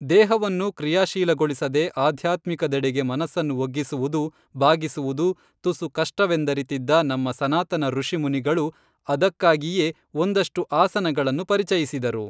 ದೇಹವನ್ನು ಕ್ರೀಯಾಶೀಲಗೊಳಿಸದೆ ಆಧ್ಯಾತ್ಮಿಕದೆಡೆಗೆ ಮನಸನ್ನು ಒಗ್ಗಿಸುವುದು, ಬಾಗಿಸುವುದು ತುಸು ಕಷ್ಟವೆಂದರಿತಿದ್ದ ನಮ್ಮ ಸನಾತನ ಋಷಿಮುನಿಗಳು ಅದಕ್ಕಾಗಿಯೇ ಒಂದಷ್ಟು ಆಸನಗಳನ್ನು ಪರಿಚಯಿಸಿದರು.